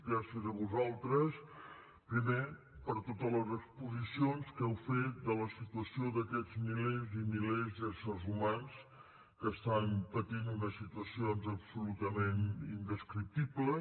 gràcies a vosaltres primer per totes les exposicions que heu fet de la situació d’aquests milers i milers d’éssers humans que estan patint unes situacions absolutament indescriptibles